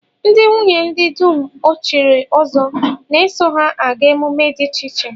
Ndị nwunye ndị dum e chiri ọzọ na-eso ha aga emume dị iche iche